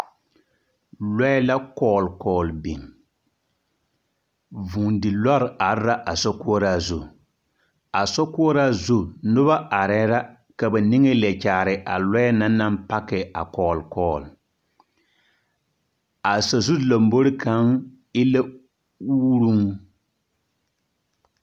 Lɔɛ la kɔɔl kɔɔl biŋ. Vũũdi lɔre are la a sokoɔraa zu. A sokoɔraa zu noba arɛɛ la ka ba niŋe leɛ kyaare a lɔɛ na naŋ pake a kɔɔl kɔɔl. a sazu lambori kaŋ e la uuruŋ.